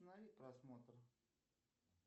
останови просмотр